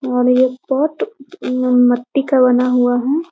और ये पॉट मट्टी का बना हुआ है।